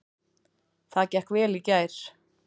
Það gekk vel í gær.